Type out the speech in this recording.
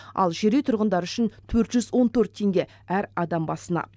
ал жер үй тұрғындары үшін төрт жүз он төрт теңге әр адам басына